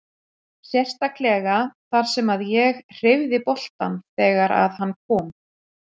Sérstaklega þar sem að ég hreyfði boltann þegar að hann kom.